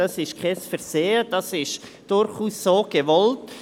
Das ist kein Versehen, sondern so gewollt.